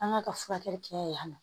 An ka ka furakɛli kɛ yan nɔ